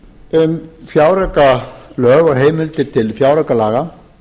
um fjáraukalög og heimildir til fjáraukalaga